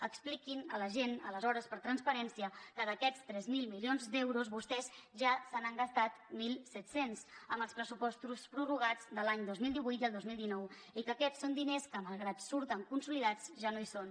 expliquin a la gent aleshores per transparència que d’aquests tres mil milions d’euros vostès ja se n’han gastat mil set cents amb els pressupostos prorrogats de l’any dos mil divuit i el dos mil dinou i que aquests són diners que malgrat que surten consolidats ja no hi són